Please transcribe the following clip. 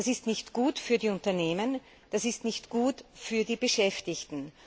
Das ist nicht gut für die Unternehmen, und das ist nicht gut für die Beschäftigten.